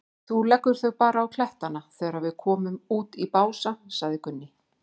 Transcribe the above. Þú leggur þau bara á klettana þegar við komum út í Bása, sagði Gunni.